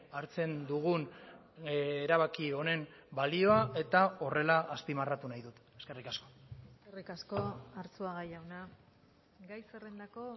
hartzen dugun erabaki honen balioa eta horrela azpimarratu nahi dut eskerrik asko eskerrik asko arzuaga jauna gai zerrendako